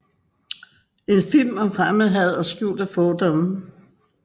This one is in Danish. En film om fremmedhad og skjulte fordomme